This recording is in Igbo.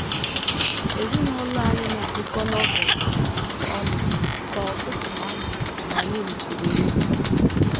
Ezinụlọ anyị na - agụkọ Novel ọnụ kwa ụtụtụ na anyasị mgbe anyị risịrị nri.